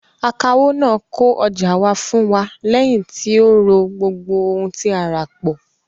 Akawó náà kó ọjà wa fún wa lẹ́yìn tí ó rọ̀ gbogbo ohun tí a rà pọ̀.